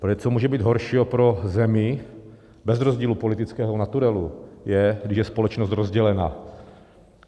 Protože co může být horšího pro zemi bez rozdílu politického naturelu, než když je společnost rozdělena?